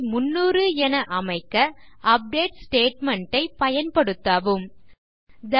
300 என அமைக்க update statement ஐ பயன்படுத்தவும் 2